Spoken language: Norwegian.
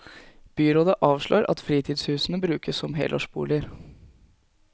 Byrådet avslår at fritidshusene brukes som helårsboliger.